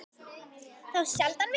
Þá sjaldan við